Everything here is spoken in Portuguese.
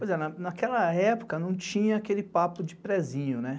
Pois é, naquela época não tinha aquele papo de prézinho, né?